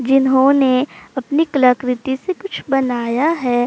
जिहोने अपनी कलाकृति से कुछ बनाया है।